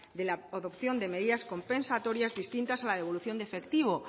de la adopción de medidas compensatorias distintas a la devolución de efectivo